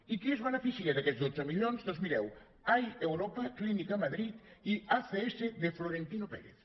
i qui es beneficia d’aquests dotze milions doncs mireu air europa clínica madrid i acs de florentino pérez